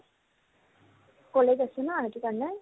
College আছে ন, ৰাতিপুৱা নাই ?